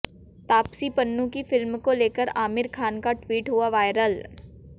तापसी पन्नू की फिल्म को लेकर आमिर खान का ट्वीट हुआ वायरल